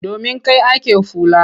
Domin kai ake fula.